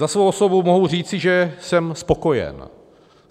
Za svou osobu mohu říci, že jsem spokojen.